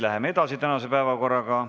Läheme edasi tänase päevakorraga.